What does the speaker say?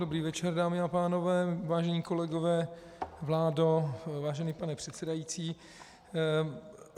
Dobrý večer, dámy a pánové, vážení kolegové, vládo, vážený pane předsedající.